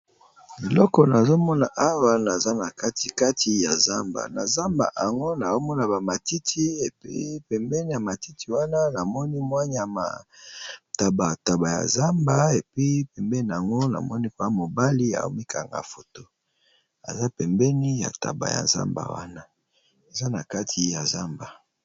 Liloko naazomona awa naza na kati kati ya zamba na zamba yango nazomona bamatiti epe pembeni ya matiti wana namoni mwanya mataba taba ya zamba epe pembeni yango namoni kona mobali aomikanga foto eza pembeni ya tabayazama wana eza na kati ya zamba.